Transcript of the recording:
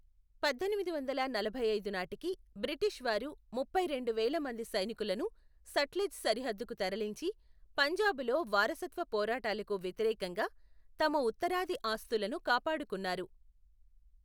పద్దెనిమిది వందల నలభై ఐదు నాటికి బ్రిటీషు వారు ముప్పై రెండు వేల మంది సైనికులను సట్లెజ్ సరిహద్దుకు తరలించి, పంజాబులో వారసత్వ పోరాటాలకు వ్యతిరేకంగా తమ ఉత్తరాది ఆస్తులను కాపాడుకున్నారు